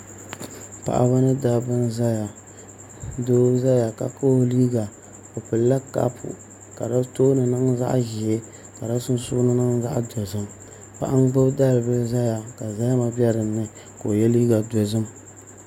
Paɣaba ni dabba n ʒɛya doo ʒɛya ka kahi o liiga o pilila kapu ka di tooni niŋ zaɣ ʒiɛ ka di sunsuuni niŋ zaɣ dozim paɣa n gbubi dalibili ʒɛya ka zahama bɛ dinni ka o yɛ liiga dozim